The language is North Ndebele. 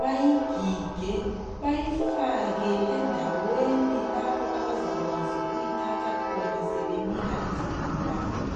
bayigige bayifake endaweni abazabakwazi ukuyithatha khona sebenika izigulani.